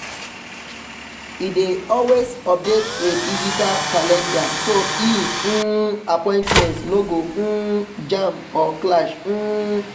e dey always update e digital calendar so e um appointments no go um jam or clash um